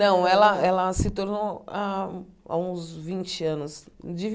Não, ela ela se tornou há há uns vinte anos, de